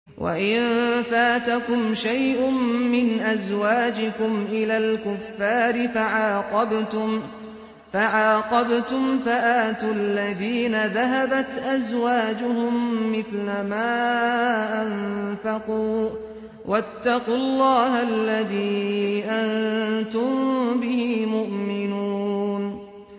وَإِن فَاتَكُمْ شَيْءٌ مِّنْ أَزْوَاجِكُمْ إِلَى الْكُفَّارِ فَعَاقَبْتُمْ فَآتُوا الَّذِينَ ذَهَبَتْ أَزْوَاجُهُم مِّثْلَ مَا أَنفَقُوا ۚ وَاتَّقُوا اللَّهَ الَّذِي أَنتُم بِهِ مُؤْمِنُونَ